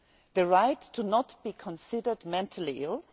The right not to be considered mentally ill?